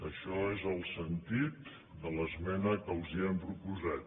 això és el sentit de l’esmena que els hem proposat